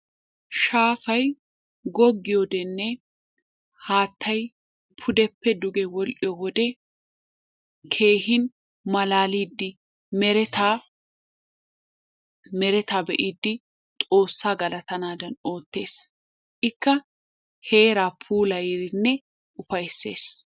Shaafay gogiyoddenne haattay pudeppe dugge wodhdhiyo wode keehippe maalalidi meretta be'iddi xoossa galattandan oottes, ikka heera puulayidinne ufaysses.